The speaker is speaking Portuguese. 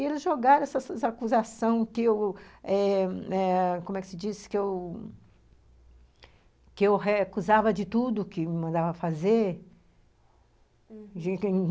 E eles jogaram essas acusações que eu eh eh, como é que se diz, que eu.... que eu recusava de tudo que me mandava fazer, uhum.